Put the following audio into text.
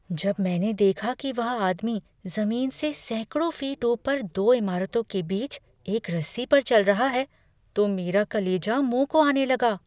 जब मैंने देखा कि वह आदमी जमीन से सैकड़ों फीट ऊपर दो इमारतों के बीच एक रस्सी पर चल रहा है तो मेरा कलेजा मुँह को आने लगा।